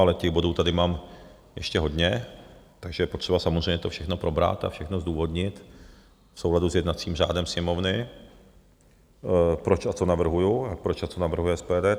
Ale těch bodů tady mám ještě hodně, takže je potřeba samozřejmě to všechno probrat a všechno zdůvodnit v souladu s jednacím řádem Sněmovny, proč a co navrhuji a proč a co navrhuje SPD.